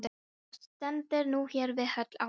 Og stendur nú hér við hól álfa.